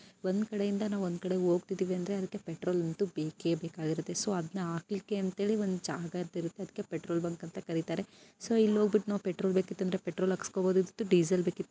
ಒಂದ್ ಕಡೆಯಿಂದ ನಾವು ಒಂದು ಕಡೆಗೆ ಹೋಗುತ್ತಿದ್ದೇವೆ ಅಂತ ಅಂದರೆ ಪೆಟ್ರೋಲ್ ಬೇಕೇ ಬೇಕಿರುತ್ತೆ ಸೊ ಅದನ್ನ ಹಾಕಲಿಕ್ಕೆ ಅಂತ ಹೇಳಿ ಒಂದು ಜಾಗ ಅಂತ ಇರುತ್ತೆ ಅದಿಕ್ಕೆ ಪೆಟ್ರೋಲ್ ಬಂಕ್ ಅಂತ ಕರೀತಾರೆ ಸೋ ಇಲ್ಲಿ ಹೋಗ್ಬಿಟ್ಟು ನಾವು ಪೆಟ್ರೋಲ್ ಬೇಕಿತ್ತಂದ್ರೆ ಪೆಟ್ರೋಲ್ ಹಾಕಿಸ್ಕೊಬಹುದು ಡೀಸೆಲ್ ಬೇಕ ಇದ್ರೆ --